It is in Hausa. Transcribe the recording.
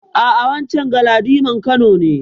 A'a, wancen Galadiman Kano ne.